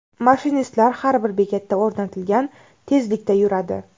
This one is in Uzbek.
Mashinistlar har bir bekatda o‘rnatilgan tezlikda yuradi.